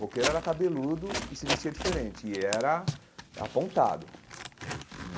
Roqueiro era cabeludo e se vestia diferente, e era apontado.